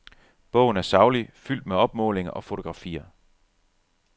Bogen er saglig, fuldt med opmålinger og fotografier.